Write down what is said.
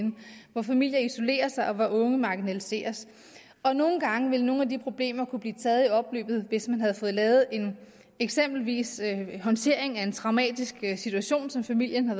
hvor familier isolerer sig og hvor unge marginaliseres nogle gange vil nogle af de problemer kunne blive taget i opløbet hvis man har fået lavet eksempelvis en håndtering af en traumatisk situation som familien har